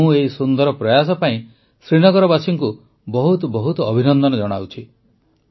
ମୁଁ ଏହି ସୁନ୍ଦର ପ୍ରୟାସ ପାଇଁ ଶ୍ରୀନଗରବାସୀଙ୍କୁ ବହୁତ ବହୁତ ଅଭିନନ୍ଦନ ଜଣାଉଛି